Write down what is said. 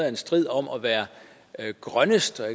en strid om at være grønnest og